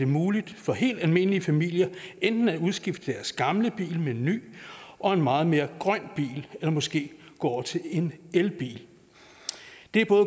muligt for helt almindelige familier enten at udskifte deres gamle bil med en ny og meget mere grøn bil eller måske at gå over til en elbil det er